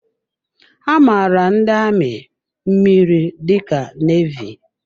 A maara ndị amị mmiri dị ka nevy.